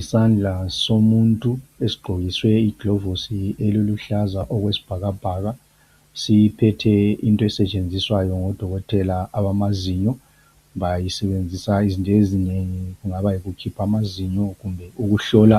Isandla somuntu esigqokiswe iglovosi eliluhlaza okwesibhakabhaka siphethe into esetshenziswayo ngo Dokotela abamazinyo. Bayisebenzisa izinto ezinengi kungaba yikukhipha amazinyo kumbe ukuhlola